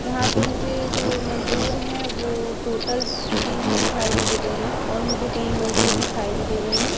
यहां पे मुझे जो मजदूर हैं वो टोटल तीन ही दिखाई मुझे दे रहे हैं और मुझे कई मजदूर दिखाई नहीं दे रहे हैं।